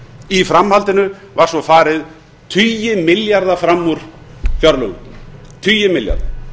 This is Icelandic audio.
í framhaldinu var svo farið tugi milljarða fram úr fjárlögum tugi milljarða